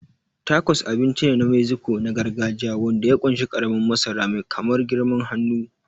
Tacos abinci ne na Mexico na gargajiya wanda ya ƙunshi ƙaramin masara mai kamar girman hannu.